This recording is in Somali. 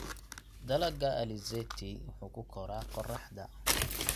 Dalagga alizeti wuxuu ku koraa qorraxda.